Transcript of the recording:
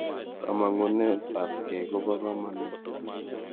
Kanemunet ap kei kopo kamonut.